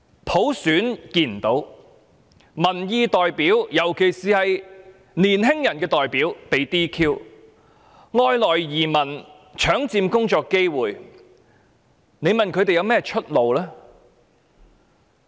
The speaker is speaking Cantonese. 我們看不到普選，而民意代表——特別是青年人的代表——又被 "DQ" 取消資格，加上外來移民搶佔工作機會，試問青年人有何出路？